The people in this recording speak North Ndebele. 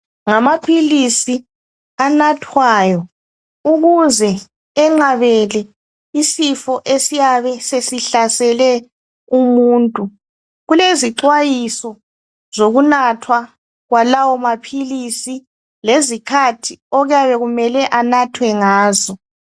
Ngamaphilisi anathwayo ukuze enqabele isifo esiyabe sesihlasele umuntu. Kulezixwayiso zokunathwa kwalawo maphilisi lezikhathi okuyabe kumele anathwe ngazo.